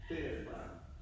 Det er det bare